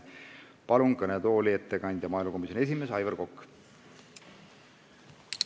Palun ettekandeks kõnetooli maaelukomisjoni esimehe Aivar Koka!